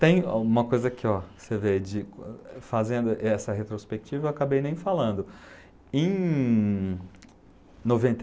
Tem uma coisa aqui, ó você vê, de fazendo essa retrospectiva, eu acabei nem falando. Em noventa